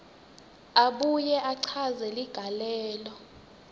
abuye achaze ligalelo